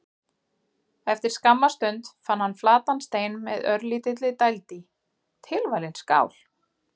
Eftir skamma stund fann hann flatan stein með örlítilli dæld í: tilvalin skál.